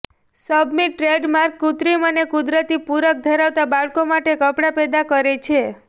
submit trademark કૃત્રિમ અને કુદરતી પૂરક ધરાવતા બાળકો માટે કપડાં પેદા કરે છે